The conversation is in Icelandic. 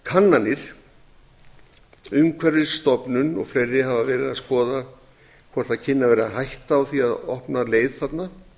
kannanir umhverfisstofnun hafa verið að skoða hvort það kynni að vera hætta á því að opna leið þarna